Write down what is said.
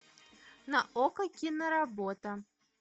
на окко киноработа